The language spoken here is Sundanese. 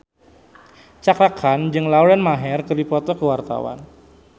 Cakra Khan jeung Lauren Maher keur dipoto ku wartawan